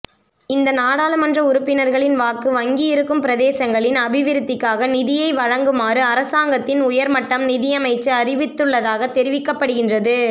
இந்த நாடாளுமன்ற உறுப்பினர்களின் வாக்கு வங்கி இருக்கும் பிரதேசங்களின் அபிவிருத்திக்காக நிதியை வழங்குமாறு அரசாங்கத்தின் உயர்மட்டம் நிதியமைச்சு அறிவித்துள்ளதாக தெரிவிக்கப்படுகின்றது